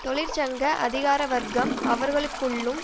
தொழிற்சங்க அதிகாரவர்க்கம் அவர்களுக்குள்ளும்